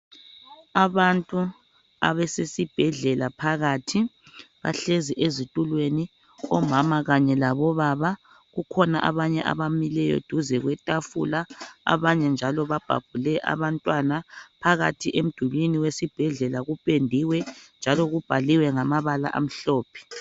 Abantu abasesibhedlela phakathi bahlezi ezitulweni omama kanye labobaba kukhona abanye abamileyo duze kwetafula abanye njalo babhabhule abantwana . Phakathi emdulini wesibhedlela kupendiwe njalo kubhaliwe ngamabala amhlophe .